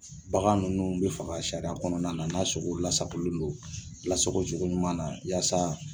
Bagan nunnu bi faga sariya kɔnɔna na n'a sogo lasagolen don lasago cogo ɲuman na yaasa